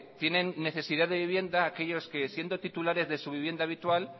tienen necesidad de vivienda aquellos que siendo titulares de su vivienda habitual